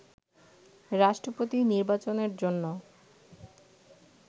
রাষ্ট্রপতি নির্বাচনের জন্য